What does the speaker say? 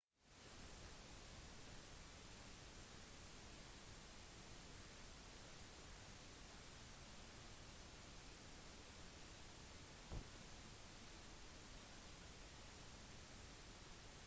reisende som planlegger kjønnskorrigerende operasjon i utlandet må forsikre seg om at de har gyldige dokumenter for hjemreisen